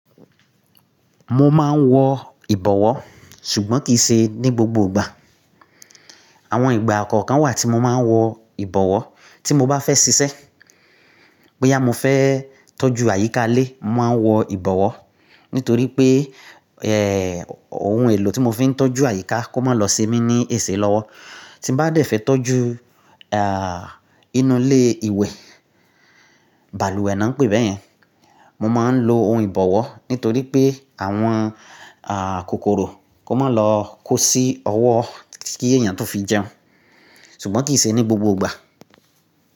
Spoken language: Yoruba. Mo máa ń wọ ìbọ̀wọ́ ṣùgbọ́n kì í ṣe ní gbogbo ìgbà. Àwọn ìgbà kan kan wà tí mo máa ń wọ ìbọ̀wọ́ tí mo bá fẹ́ ṣiṣẹ́. Bóyá mo fẹ́ toju àyíká ilé, mo máa ń wọ ìbọ̀wọ́ nítorí pé, ẹ́, ohun èlò tí mo fi ń tọ́jú àyíká kó má lọ sí mi ní èsè lọ́wọ́. Tí bá dẹ̀ fẹ́ tọ́jú, ah, inú ilé ìwẹ̀, balùwẹ̀ ni wọ́n ń pè é bẹ́yẹn. Mo máa ń lo ohun ìbọ̀wọ́ nítorí pé àwọn, ah, kòkòrò kó má lọ kó sí ọwọ́ kí èèyàn tó fi jẹun. Ṣùgbọ́n kì í ṣe ní gbogbo ìgbà.